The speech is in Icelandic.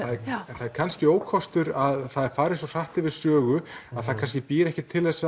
en það er kannski ókostur að það er farið svo hratt yfir sögu að það kannski býr ekki til þessa